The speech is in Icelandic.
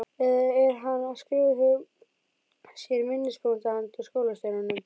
Eða er hann að skrifa hjá sér minnispunkta handa skólastjóranum?